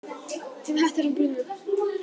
Fimm hektarar brunnu